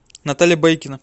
наталья байкина